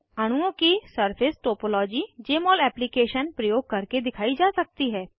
अणुओं की surface topology Jmol application प्रयोग करके दिखाई जा सकती है